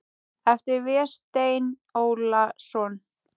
eftir Véstein Ólason